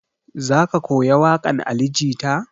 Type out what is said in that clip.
Za ka koya waƙan ali jita?